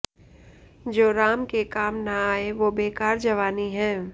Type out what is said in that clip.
जो राम के काम न आए वो बेकार जवानी है